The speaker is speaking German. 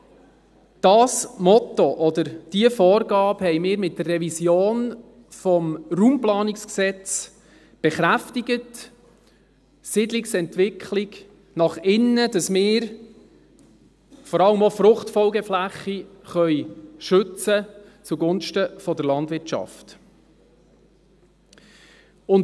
Genau dieses Motto oder diese Vorgaben haben wir mit der Revision des Bundesgesetzes über die Raumplanung (Raumplanungsgesetz, RPG) bekräftigt – Siedlungsentwicklung nach innen, damit wir vor allem auch Fruchtfolgefläche zugunsten der Landwirtschaft schützen können.